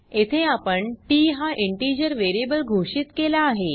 येथे आपण टीटी हा इंटिजर वेरीयेबल घोषित केला आहे